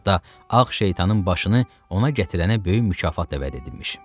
Hətta ağ şeytanın başını ona gətirənə böyük mükafat da vəd edilmiş.